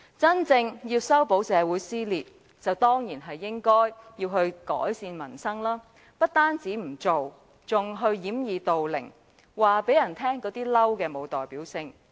真正想修補社會撕裂，當然必須改善民生，但特首不單沒有這樣做，還要掩耳盜鈴，說這些"嬲"並沒有代表性。